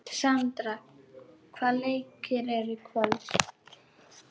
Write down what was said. Sandra, hvaða leikir eru í kvöld?